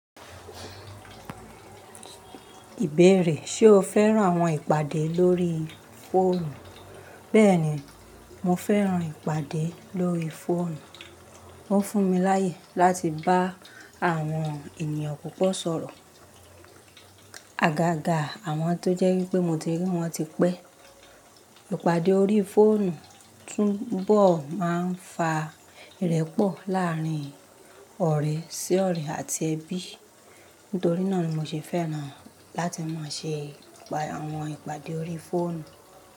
Ìbéèrè, ṣe o fẹ́ràn àwọn ìpàdé lórí fóònù? Bẹ́ẹ̀ni, mo fẹ́ràn ìpàdé lórí fóònù. Ó fún mi láyè láti bá àwọn ènìyàn púpọ̀ sọ̀rọ̀. Àgàgà àwọn tó jẹ́ wípé mo ti rí wọn tí pẹ́. Ìpàdé orí fóònù túbọ̀ máa ń fa ìrẹ́pọ̀ láàrín ọ̀rẹ́ sí ọ̀rẹ́ àti ẹbí. Nítorí náà ni mo ṣe fẹ́ràn láti máa ṣe àwọn ìpàdé orí fóònù.